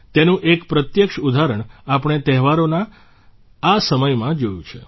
તેનું એક પ્રત્યક્ષ ઉદાહરણ આપણે તહેવારોના આ સમયમાં જોયું છે